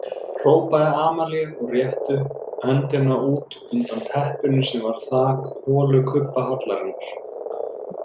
Hrópaði Amalía og rétti höndina út undan teppinu sem var þak holukubbahallarinnar.